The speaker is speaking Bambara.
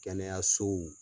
Kɛnɛya sow